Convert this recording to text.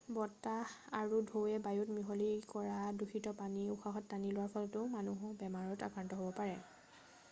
বতাহ আৰু ঢৌৱে বায়ুত মিহলি কৰা দূষিত পানী উশাহত টানি লোৱাৰ ফলত মানুহো বেমাৰত আক্ৰান্ত হ'ব পাৰে